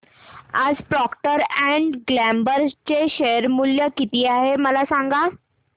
आज Procter and Gamble चे share मूल्य किती आहे मला सांगा